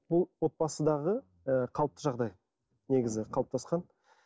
ол отбасындағы ы қалыпты жағдай негізі қалыптасқан